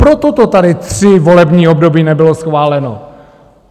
Proto to tady tři volební období nebylo schváleno.